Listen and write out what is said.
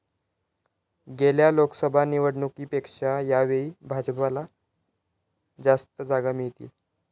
गेल्या लोकसभा निवडणुकीपेक्षा यावेळी भाजपला जास्त जागा मिळतील.